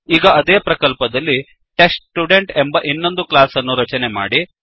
ಈಗ ಅದೇ ಪ್ರಕಲ್ಪ ದಲ್ಲಿ ಟೆಸ್ಟ್ಸ್ಟುಡೆಂಟ್ ಎಂಬ ಇನ್ನೊಂದು ಕ್ಲಾಸ್ ಅನ್ನು ರಚನೆ ಮಾಡಿ